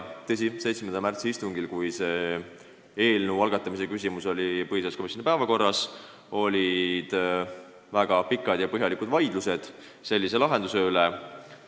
Tõsi, 7. märtsi istungil, kui eelnõu algatamise küsimus oli põhiseaduskomisjoni päevakorras, olid väga pikad ja põhjalikud vaidlused sellise lahenduse üle.